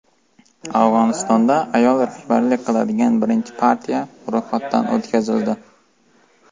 Afg‘onistonda ayol rahbarlik qiladigan birinchi partiya ro‘yxatdan o‘tkazildi.